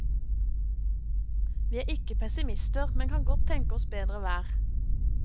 Vi er ikke pessimister, men kan godt tenke oss bedre vær.